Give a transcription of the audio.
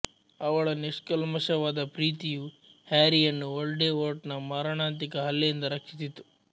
ಅವಳ ನಿಶ್ಕಲ್ಮಶವಾದ ಪ್ರೀತಿಯು ಹ್ಯಾರಿಯನ್ನು ವೊಲ್ಡೆಮೋರ್ಟನ ಮಾರಣಾಂತಿಕ ಹಲ್ಲೆಯಿಂದ ರಕ್ಷಿಸಿತು